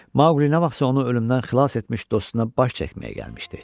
Maqli nə vaxtsa onu ölümdən xilas etmiş dostuna baş çəkməyə gəlmişdi.